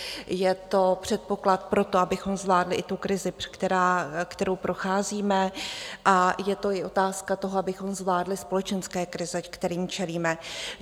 Je to předpoklad pro to, abychom zvládli i tu krizi, kterou procházíme, a je to i otázka toho, abychom zvládli společenské krize, kterým čelíme.